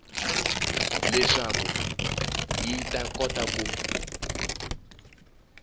leswaku yi ta kota ku